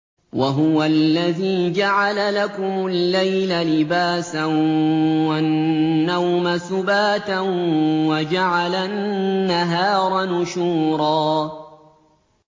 وَهُوَ الَّذِي جَعَلَ لَكُمُ اللَّيْلَ لِبَاسًا وَالنَّوْمَ سُبَاتًا وَجَعَلَ النَّهَارَ نُشُورًا